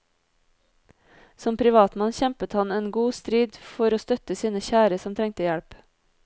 Som privatmann kjempet han en god strid for å støtte sine kjære som trengte hjelp.